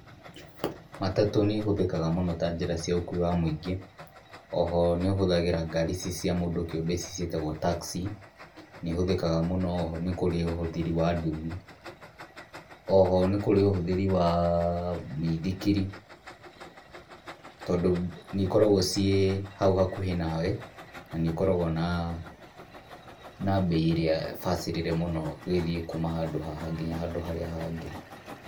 Matatu nĩ ĩhũthĩkaga mũno ta njĩra cĩa ũkuui wa mũingĩ, oho nĩũhũthagĩra ngarĩ ĩcĩ cĩa kĩũmbe ĩcĩ cĩetagwo taxi ,nĩĩhũthĩkaga mũno. Oho nĩ kũrĩ ũhũthĩri wa ndũthĩ, oho nĩ kũrĩ ũhũthĩri wa mĩĩthĩkĩri tondũ nĩ ĩkoragwo cĩe haũ hakũhe nawe na nĩ ĩkoragwo na bei ĩrĩa bacĩrĩre mũno ũgĩthie kũũma handũ haha ngĩnya harĩa hangĩ.